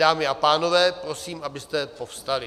Dámy a pánové, prosím, abyste povstali.